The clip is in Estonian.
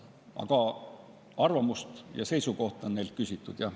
Aga arvamust ja seisukohta on neilt küsitud, jah.